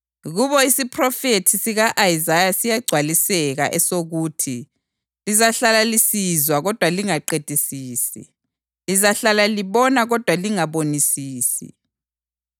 Kubo isiphrofethi sika-Isaya siyagcwaliseka, esokuthi: ‘Lizahlala lisizwa kodwa lingaqedisisi; lizahlala libona kodwa lingabonisisi.